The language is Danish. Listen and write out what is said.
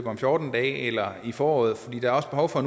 om fjorten dage eller til foråret der er også behov for